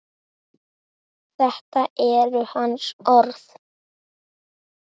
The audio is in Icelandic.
Þetta eru hans orð.